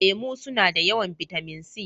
Lemu suna da yawan bitamin C.